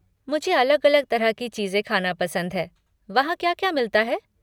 मुझे अलग अलग तरह की चीज़ें ख़ाना पसंद है, वहाँ क्या क्या मिलता है?